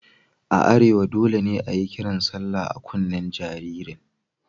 A arewa dole ne a yi kiran sallah a kunnen jaririn.